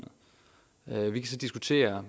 ser